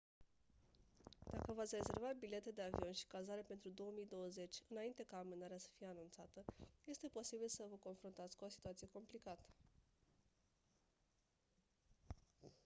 dacă v-ați rezervat bilete de avion și cazare pentru 2020 înainte ca amânarea să fie anunțată este posibil să vă confruntați cu o situație complicată